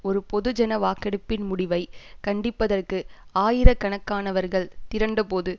ஒரு பொதுஜன வாக்கெடுப்பின் முடிவை கண்டிப்பதற்கு ஆயிர கணக்கானவர்கள் திரண்டபோது